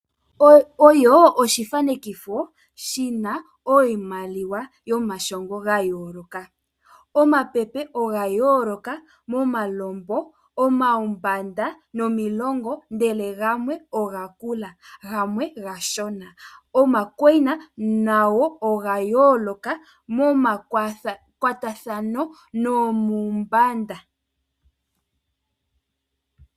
Oyo oshifanekifo shina iimaliwa yomashongo gayooloka, omapepe oga yoloka omalompo ,omawumbanda nomilongi ndele gamwe oga kula ndele gamwe omashina , oma koyina nago oga yoloka momakwarathano nomumbanda